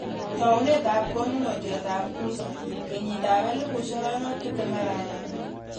Taunet ap koonunotyat ap Kuza, kenyit 2021.